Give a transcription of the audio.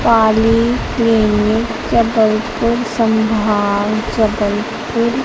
poly clinic Jabalpur संभाग जबलपुर --